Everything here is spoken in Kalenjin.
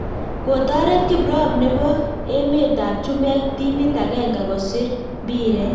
Kotoret kiprop nebo emet ab chumbek timit agenge kusir mbiret